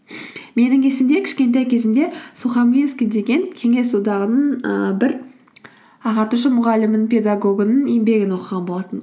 менің есімде кішкентай кезімде сухамлинский деген кеңес одағының ыыы бір ағартушы мұғалімнің педагогының еңбегін оқыған болатынмын